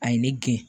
A ye ne gen